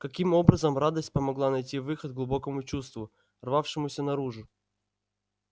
каким образом радость помогла найти выход глубокому чувству рвавшемуся наружу